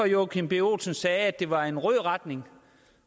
joachim b olsen sagde at det var i en rød retning